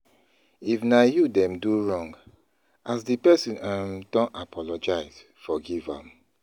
If na you dem do wrong, as di person um don apologize, forgive am